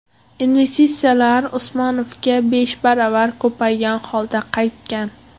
Investitsiyalar Usmonovga besh baravar ko‘paygan holda qaytgan.